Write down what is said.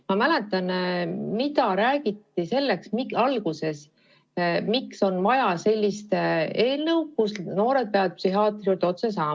Ma mäletan, mida räägiti alguses selle kohta, miks on vaja sellist eelnõu, mis võimaldab noortel psühhiaatri juurde otse minna.